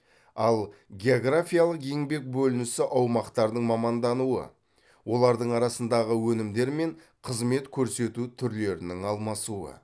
ал географиялық еңбек бөлінісі аумақтардың мамандануы олардың арасындағы өнімдер мен қызмет көрсету түрлерінің алмасуы